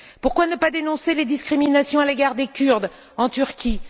Pourquoi ne pas dénoncer les discriminations à l'égard des Kurdes en Turquie?